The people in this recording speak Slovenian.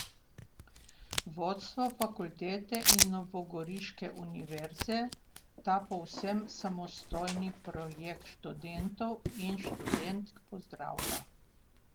Vodstvo fakultete in novogoriške Univerze ta povsem samostojni projekt študentov in študentk pozdravlja...